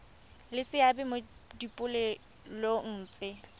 le seabe mo dipoelong tse